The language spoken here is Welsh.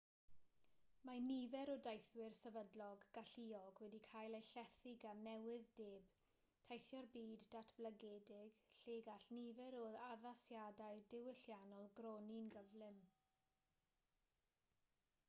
mae nifer o deithwyr sefydlog galluog wedi cael eu llethu gan newydd-deb teithio'r byd datblygedig lle gall nifer o addasiadau diwylliannol gronni'n gyflym